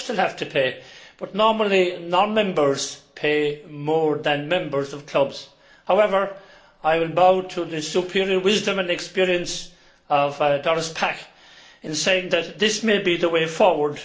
Of course they will have to pay, but normally non members pay more than members of clubs. However, I will bow to the superior wisdom and experience of Doris Pack in saying that this may be the way forward.